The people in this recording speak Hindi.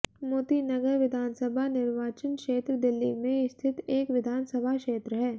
मोती नगर विधानसभा निर्वाचन क्षेत्र दिल्ली में स्थित एक विधान सभा क्षेत्र है